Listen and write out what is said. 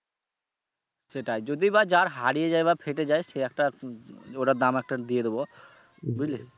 সেটাই যদিও বা jar হারিয়ে বা ফেটে যায় সে একটা ওটার দাম একটা দিয়ে দিবো বুঝলে।